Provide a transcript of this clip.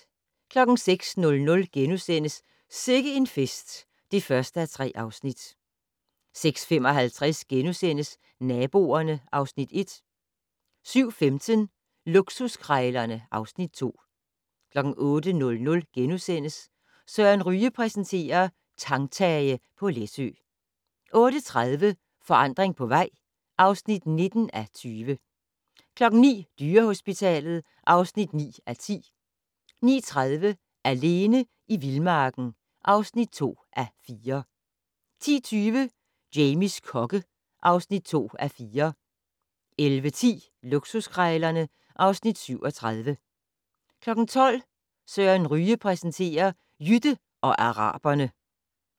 06:00: Sikke en fest (1:3)* 06:55: Naboerne (Afs. 1)* 07:15: Luksuskrejlerne (Afs. 2) 08:00: Søren Ryge præsenterer: Tangtage på Læsø * 08:30: Forandring på vej (19:20) 09:00: Dyrehospitalet (9:10) 09:30: Alene i vildmarken (2:4) 10:20: Jamies kokke (2:4) 11:10: Luksuskrejlerne (Afs. 37) 12:00: Søren Ryge præsenterer: Jytte og araberne